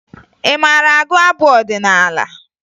Ị maara agụ abụ ọdịnaala?